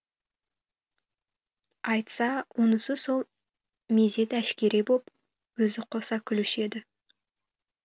айтса онысы сол мезет әшкере боп өзі қоса күлуші еді